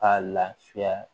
K'a lafiya